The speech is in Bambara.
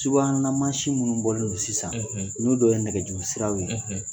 Subahana mansi minnu bɔlen don sisan, olu dɔ ye nɛgɛjuru siraw ye.